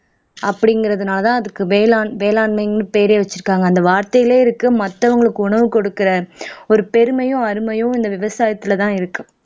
அப்படிங்கறதுனாலதான் அதுக்கு வேளாண் வேளாண்மைன்னு பேரே வச்சிருக்காங்க அந்த வார்த்தையிலேயே இருக்கு மத்தவங்களுக்கு உணவு கொடுக்கிற ஒரு பெருமையும் அருமையும் இந்த விவசாயத்திலதான் இருக்கு